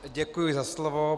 Děkuji za slovo.